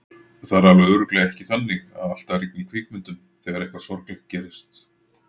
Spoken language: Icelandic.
Það er alveg örugglega ekki þannig að alltaf rigni í kvikmyndum þegar eitthvað sorglegt gerist.